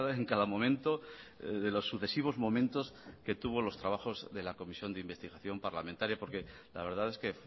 en cada momento de los sucesivos momentos que tuvo los trabajos de la comisión de investigación parlamentaria porque la verdad es que